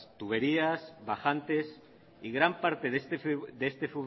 tuberías bajantes y gran parte de este